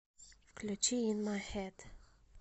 включи ин май хэд